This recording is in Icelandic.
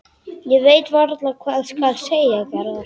Ég veit varla hvað skal segja, Garðar.